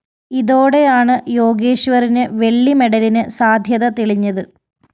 ഇതോടെയാണ് യോഗേശ്വറിന് വെള്ളി മെഡലിന് സാധ്യത തെളിഞ്ഞത്